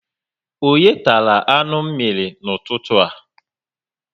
Onye tara anụ mírí n'ụtụtụ a?